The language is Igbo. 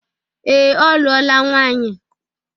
Ee, ọ lụọla nwaanyị.